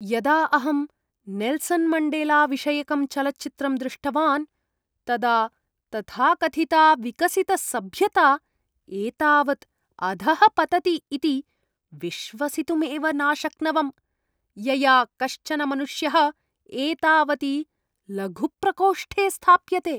यदा अहं नेल्सन् मण्डेलाविषयकं चलच्चित्रं दृष्टवान्, तदा तथाकथिता विकसितसभ्यता एतावत् अधः पतति इति विश्वसितुमेव नाशक्नवम्, यया कश्चन मनुष्यः एतावति लघुप्रकोष्ठे स्थाप्यते।